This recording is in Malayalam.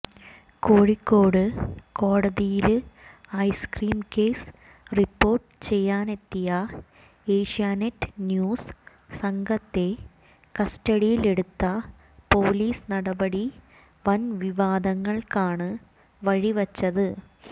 കോഴിക്കോട് കോടതിയില് ഐസ്ക്രീം കേസ് റിപ്പോര്ട്ട് ചെയ്യാനെത്തിയ ഏഷ്യാനെറ്റ് ന്യൂസ് സംഘത്തെ കസ്റ്റഡിയിലെടുത്ത പൊലീസ് നടപടി വന് വിവാദങ്ങള്ക്കാണ് വഴിവച്ചത്